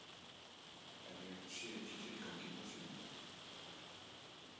En ég sé ekki tilganginn með því.